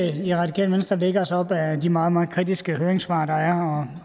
i radikale venstre lægger os op ad de meget meget kritiske høringssvar der er